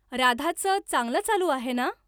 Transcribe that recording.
राधाचं चांगलं चालू आहे ना?